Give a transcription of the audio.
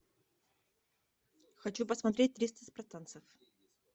хочу посмотреть триста спартанцев